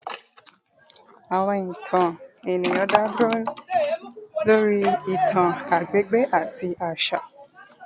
Awọn eré eniyan da lori itan agbegbe ati aṣa